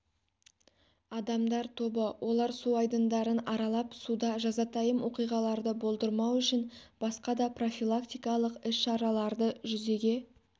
адамдар тобы олар су айдындарын аралап суда жазатайым оқиғаларды болдырмау үшін басқада профилактикалық іс-шараларды жүзеге